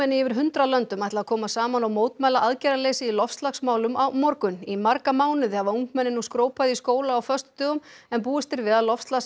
yfir hundrað löndum ætla að koma saman og mótmæla aðgerðaleysi í loftslagsmálum á morgun í marga mánuði hafa ungmenni nú skrópað í skóla á föstudögum en búist er við að